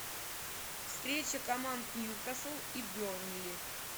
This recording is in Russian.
встреча команд ньюкасл и бернли